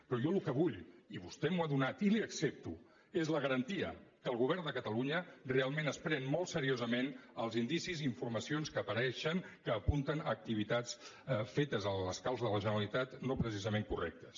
però jo el que vull i vostè m’ho ha donat i li ho accepto és la garantia que el govern de catalunya realment es pren molt seriosament els indicis i informacions que apareixen que apunten a activitats fetes a l’escalf de la generalitat no precisament correctes